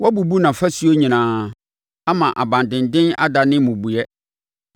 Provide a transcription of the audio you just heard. Woabubu nʼafasuo nyinaa ama nʼabandenden adane mmubuiɛ.